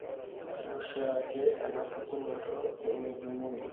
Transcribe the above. Ore oshiake enapukunoto nemejung'uni.